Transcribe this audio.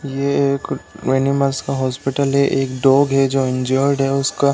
ये एक एनिमल्स का हॉस्पिटल है। एक डॉग है जो इंजर्ड है उसका --